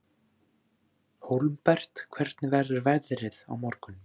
Hólmbert, hvernig verður veðrið á morgun?